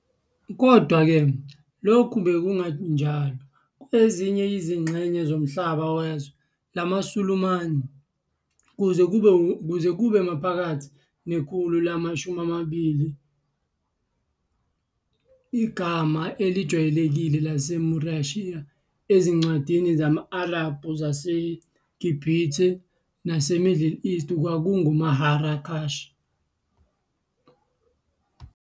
Kodwa-ke, lokhu bekungenjalo kwezinye izingxenye zomhlaba wezwe lamaSulumane- kuze kube maphakathi nekhulu lama-20, igama elijwayelekile laseMorussia ezincwadini zama-Arabhu zaseGibhithe naseMiddle East kwakunguMarrakesh.